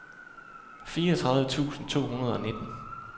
fireogtredive tusind to hundrede og nitten